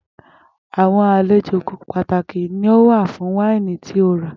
Àwo̩n àlejò pàtàkì ni wàá fún nĩ wáìnì tí o rà